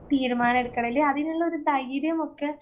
തീരുമാനമെടുക്കണെല് അതിനുള്ളോരു ധൈര്യമൊക്കെ